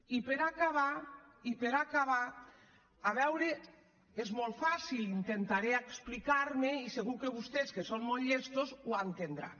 i per acabar a veure és molt fàcil intentaré explicar me i segur que vostès que són molt llestos ho entendran